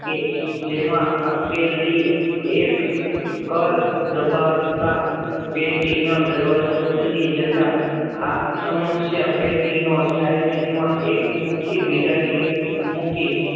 કે જેમાં આપેલી એક જ દબાવતા પેટી ના દરવાજા ખુલી જતા આજ પેટી નો સમયસ્યા થાઈલેન્ડ માં એક મૂકી જેમાં